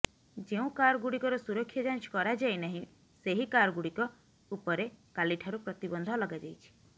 ଯେଉଁ କାରଗୁଡ଼ିକର ସୁରକ୍ଷା ଯାଞ୍ଚ କରାଯାଇନାହିଁ ସେହି କାରଗୁଡ଼ିକ ଉପରେ କାଲିଠାରୁ ପ୍ରତିବନ୍ଧ ଲଗାଯାଇଛି